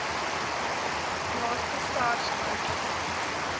naaste sars kantoor